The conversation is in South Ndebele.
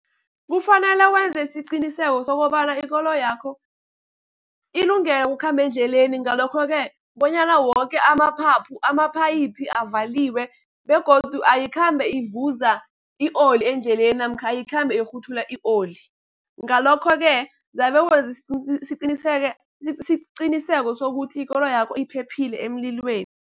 Kufanele wenze isiqiniseko sokobana ikoloyakho ilungele ukukhamba endleleni. Ngalokho-ke bonyana woke amaphayiphu avaliwe begodu ayikhambi ivuza i-oli endleleni, namkha ayikhambi ikghuthula i-oli. Ngalokho-ke zabe wenze isiqiniseko sokuthi ikoloyakho iphephile emlilweni.